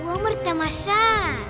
өмір тамаша